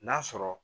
N'a sɔrɔ